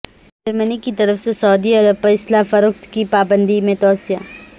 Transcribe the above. جرمنی کی طرف سے سعودی عرب پر اسلحہ فروخت کی پابندی میں توسیع